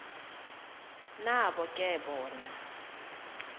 nabo ke bona